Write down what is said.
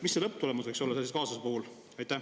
Mis see lõpptulemus võiks olla sellise kaasuse puhul?